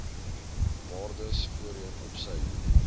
waardes voorheen opsy